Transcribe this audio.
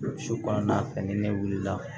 Su kɔnɔna fɛn ni ne wulila